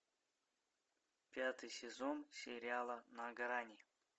пятый сезон сериала на грани